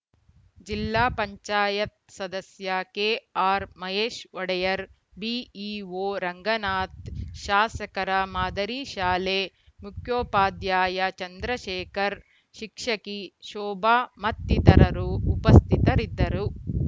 ಜಿಲ್ಲಾ ಪಂಚಾಯತ್ ಸದಸ್ಯ K R Mahesh Odeyar BEO Ranganath ಶಾಸಕರ ಮಾದರಿ ಶಾಲೆ ಮುಖ್ಯೋಪಾಧ್ಯಾಯ ಚಂದ್ರಶೇಖರ್‌ ಶಿಕ್ಷಕಿ ಶೋಭಾ ಮತ್ತಿತರರು ಉಪ ಸ್ಥಿತರಿದ್ದರು